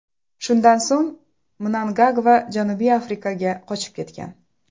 Shundan so‘ng Mnangagva Janubiy Afrikaga qochib ketgan.